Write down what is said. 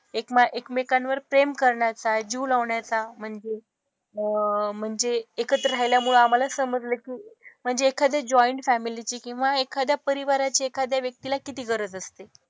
एकमा एकमेकांवर प्रेम करण्याचा, जीव लावण्याचा म्हणजे अह म्हणजे एकत्र राहिल्यामुळे आम्हाला समजलं की म्हणजे एखादे जॉईन फॅमिली ची किंवा एखाद्या परिवाराची एखाद्या व्यक्तीला किती गरज असते.